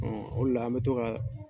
o le la an bɛ to ka